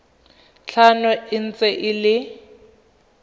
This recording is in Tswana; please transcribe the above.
tlhano e ntse e le